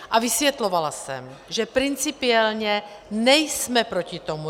A vysvětlovala jsem, že principiálně nejsme proti tomu.